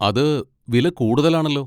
അത് വില കൂടുതലാണല്ലോ.